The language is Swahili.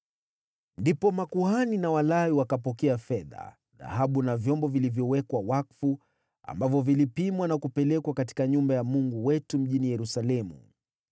Ndipo makuhani na Walawi wakapokea fedha, dhahabu na vyombo vilivyowekwa wakfu ambavyo vilipimwa na kupelekwa katika nyumba ya Mungu wetu mjini Yerusalemu.